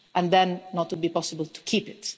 and then for it not to be possible to keep